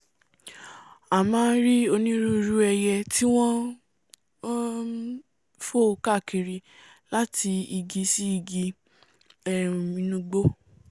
á máà rí onírúirú ẹiyẹ tí wọ́n ń um fò káàkiri láti igi sí igi um inú igbó